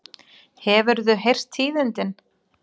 Hefurðu heyrt tíðindin?